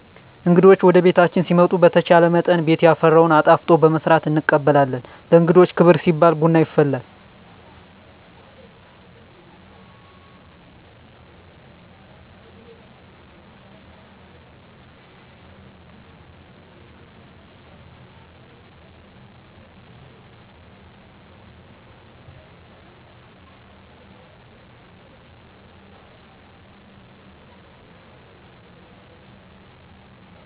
እንግዶች ወደቤታችን ሲመጡ በተቻለመጠን ቤት ያፈራውን አጣፍጦ በመስራት እንቀበላለን። ለእንግዶች ክብር ሲባል ቡና ይፈላል።